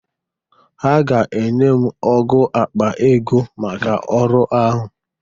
Ha ga-enye m ọ́gụ̀ akpa ego maka ọrụ ahụ.